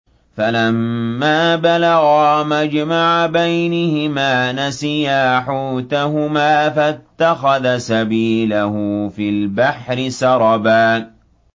فَلَمَّا بَلَغَا مَجْمَعَ بَيْنِهِمَا نَسِيَا حُوتَهُمَا فَاتَّخَذَ سَبِيلَهُ فِي الْبَحْرِ سَرَبًا